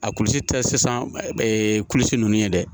A kulusi tɛ sisan kulusi ninnu ye dɛ